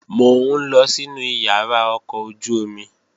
Mò ń lọ sínu ìyàrá ọkọ̀ ojú-omi